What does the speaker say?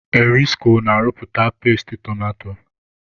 Erisko na-arụpụta peesti tomato.